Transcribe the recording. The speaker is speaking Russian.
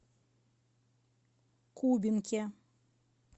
кубинке